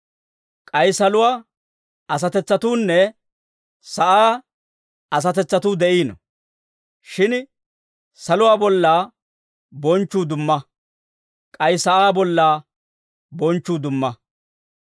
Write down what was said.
K'ay saluwaa asatetsatuunne sa'aa asatetsatuu de'iino. Shin saluwaa bollaa bonchchuu dumma; k'ay sa'aa bollaa bonchchuu dumma.